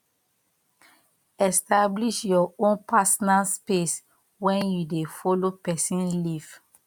establish your own personal space when you dey follow person live